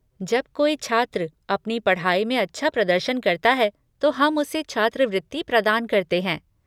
जब कोई छात्र अपनी पढ़ाई में अच्छा प्रदर्शन करता है तो हम उसे छात्रवृत्ति प्रदान करते हैं।